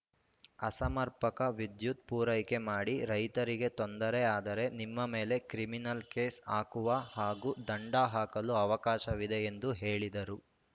ಅಸಮರ್ಪಕ ವಿದ್ಯುತ್‌ ಪೂರೈಕೆ ಮಾಡಿ ರೈತರಿಗೆ ತೊಂದರೆ ಆದರೆ ನಿಮ್ಮ ಮೇಲೆ ಕ್ರಿಮಿನಲ್‌ ಕೇಸ್‌ ಹಾಕುವ ಹಾಗೂ ದಂಡ ಹಾಕಲು ಅವಕಾಶವಿದೆ ಎಂದು ಹೇಳಿದರು